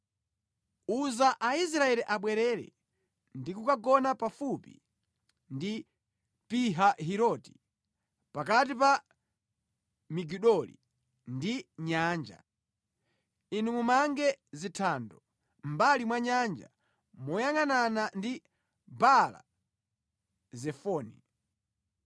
“Uza Aisraeli abwerere ndi kukagona pafupi ndi Pihahiroti, pakati pa Migidoli ndi nyanja. Inu mumange zithando mʼmbali mwa nyanja moyangʼanana ndi Baala-Zefoni.